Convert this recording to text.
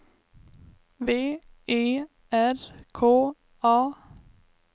V E R K A